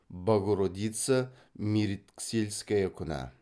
богородица меритксельская күні